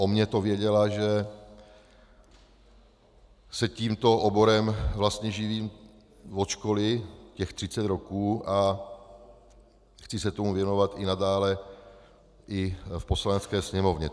O mně to věděla, že se tímto oborem vlastně živím od školy, těch 30 roků, a chci se tomu věnovat i nadále i v Poslanecké sněmovně.